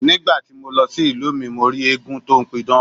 Ní gbà ti mo lọ sí ìlú mi, mo rí eégún tó ń pidán.